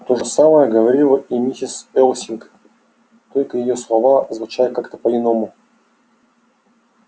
то же самое говорила и миссис элсинг только её слова звучали как-то по-иному